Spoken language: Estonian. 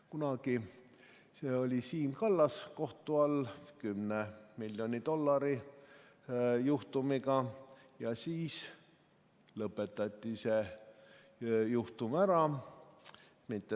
Kunagi oli Siim Kallas kohtu all 10 miljoni dollari juhtumiga ja siis lõpetati see juhtum ära.